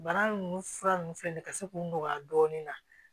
Bana nunnu fura nunnu filɛ nin ka se k'u nɔgɔya dɔɔnin na